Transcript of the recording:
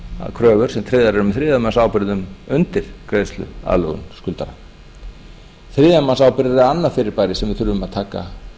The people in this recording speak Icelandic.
kröfur sem tryggðar eru með þriðja manns ábyrgðum undir greiðsluaðlögun skuldara þriðja manns ábyrgð er annað fyrirbæri sem við þurfum að taka